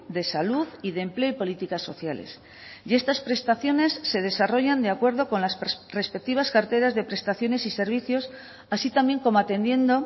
de salud y de empleo y políticas sociales y estas prestaciones se desarrollan de acuerdo con las respectivas carteras de prestaciones y servicios así también como atendiendo